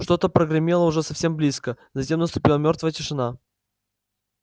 что-то прогремело уже совсем близко затем наступила мёртвая тишина